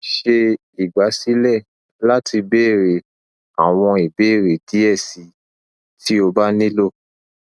ṣe igbasilẹ lati beere awọn ibeere diẹ sii ti o ba nilo